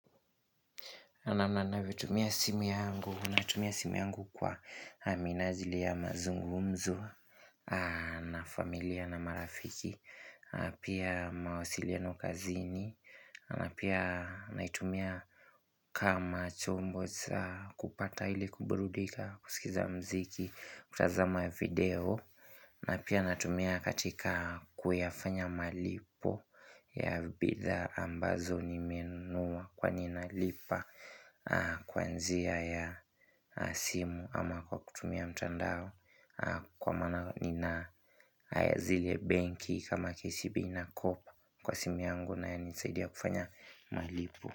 Namna ninavyotumia simu yangu, natumia simu yangu kwa minajili ya mazungumzo na familia na marafiki, pia mawasiliano kazini, na pia naitumia kama chombo cha kupata ili kuburudika, kusikiza muziki, kutazama ya video na pia natumia katika kuyafanya malipo ya bidhaa ambazo nimenunua kwani nalipa kwa njia ya simu ama kwa kutumia mtandao kwa maana nina zile benki kama kcb na coop kwa simu yangu inayonisaidia kufanya malipo.